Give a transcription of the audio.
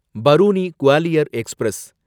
Barauni Gwalior express